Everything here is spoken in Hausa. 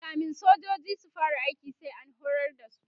kamin sojoji su fara aiki sai an horar da su